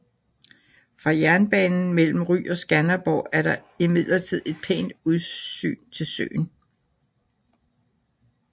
Fra jernbanen mellem Ry og Skanderborg er der imidlertid et pænt udsyn til søen